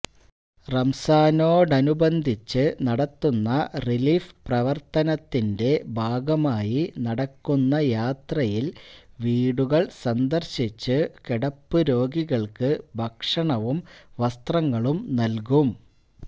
റംസാനോടനുബന്ധിച്ചു നടത്തുന്ന റിലീഫ് പ്രവര്ത്തനത്തിന്റെ ഭാഗമായി നടക്കുന്ന യാത്രയില് വീടുകള് സന്ദര്ശിച്ചു കിടപ്പുരോഗികള്ക്ക് ഭക്ഷണവും വസ്ത്രങ്ങളും നല്കും